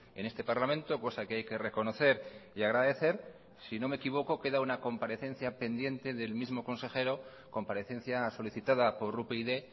en este parlamento cosa que hay que reconocer y agradecer si no me equivoco queda una comparecencia pendiente del mismo consejero comparecencia solicitada por upyd